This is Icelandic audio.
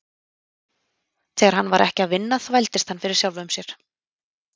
Þegar hann var ekki að vinna þvældist hann fyrir sjálfum sér.